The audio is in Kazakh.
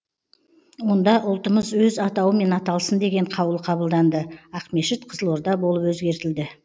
онда ұлтымыз өз атауымен аталсын деген қаулы қабылданды ақмешіт қызылорда болып өзгертілді